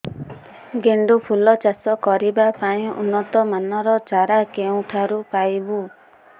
ଗେଣ୍ଡୁ ଫୁଲ ଚାଷ କରିବା ପାଇଁ ଉନ୍ନତ ମାନର ଚାରା କେଉଁଠାରୁ ପାଇବୁ